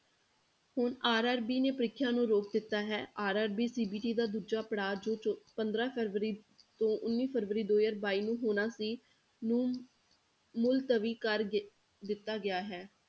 ਹੁਣ RRB ਨੇ ਪ੍ਰੀਖਿਆ ਨੂੰ ਰੋਕ ਦਿੱਤਾ ਹੈ RRBCVT ਦਾ ਦੂਜਾ ਪੜਾਅ ਜੋ ਪੰਦਰਾਂ ਫਰਵਰੀ ਤੋਂ ਉੱਨੀ ਫਰਵਰੀ ਦੋ ਹਜ਼ਾਰ ਬਾਈ ਨੂੰ ਹੋਣਾ ਸੀ ਨੂੰ ਮੁਲਤਵੀ ਕਰ ਦਿ~ ਦਿੱਤਾ ਗਿਆ ਹੈ।